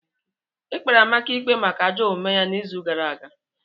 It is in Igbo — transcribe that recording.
E kpere Amaka ikpe maka ajọ omume ya n'izu gara aga.